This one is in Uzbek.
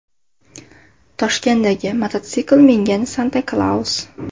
Toshkentdagi mototsikl mingan Santa-Klaus.